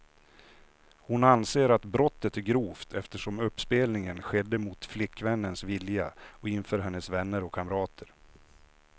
Hon anser att brottet är grovt, eftersom uppspelningen skedde mot flickvännens vilja och inför hennes vänner och kamrater.